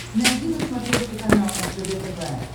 найди на смотрешке канал ржд тв